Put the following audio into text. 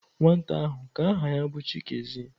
Nwata ahu ka aha ya bu Chikezie.